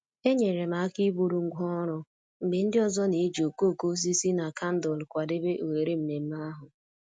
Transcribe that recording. Enyere m aka iburu ngwá ọrụ mgbe ndị ọzọ na-eji okooko osisi na kandụl kwadebe oghere ememe ahụ